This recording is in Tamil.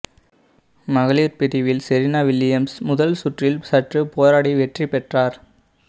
மகளிர் பிரிவில் செரீனா வில்லியம்ஸ் முதல் சுற்றில் சற்று போராடி வெற்றிபெற்றார்